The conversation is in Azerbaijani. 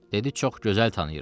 Dedi çox gözəl tanıyıram.